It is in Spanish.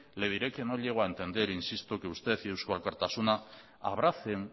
le diré que no llego a entender que usted y eusko alkartasuna abracen